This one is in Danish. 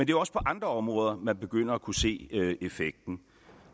jo også på andre områder man begynder at kunne se effekten